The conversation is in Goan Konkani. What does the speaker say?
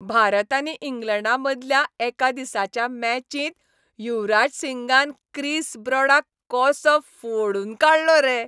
भारत आनी इंग्लंडा मदल्या एका दिसाच्या मॅचिंत युवराज सिंगान क्रिस ब्रॉडाक कसो फोडून काडलो रे.